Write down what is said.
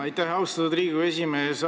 Aitäh, austatud Riigikogu esimees!